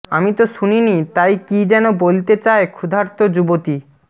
আমি তো শুনিনি তাই কী যেন বলতে চায় ক্ষুধার্ত যুবতী